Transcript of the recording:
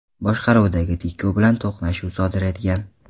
boshqaruvidagi Tico bilan to‘qnashuv sodir etgan.